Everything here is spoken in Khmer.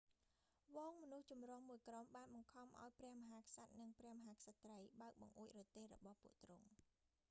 ហ្វូងមនុស្សចម្រុះមួយក្រុមបានបង្ខំឱ្យព្រះមហាក្សត្រ និងព្រះមហាក្សត្រី បើកបង្អួចរទេះរបស់ពួកទ្រង់